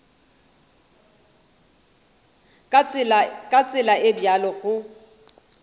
ka tsela e bjalo go